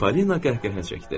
Polina qəhqəhə çəkdi.